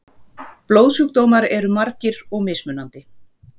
Blóðsjúkdómar eru margir og mismunandi.